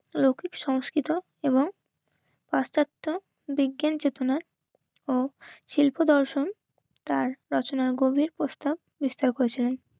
ও সংস্কৃত এবং পাশ্চাত্য বিজ্ঞান চেতনার ও শিল্প দর্শন তার রচনার গভীর পুস্তক হোসেন